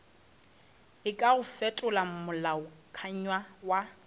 e kago fetola molaokakanywa wa